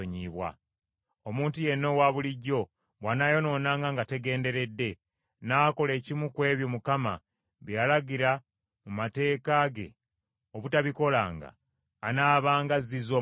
“ ‘Omuntu yenna owabulijjo bw’anaayonoonanga nga tagenderedde, n’akola ekimu ku ebyo Mukama bye yalagira mu mateeka ge obutabikolanga, anaabanga azzizza omusango.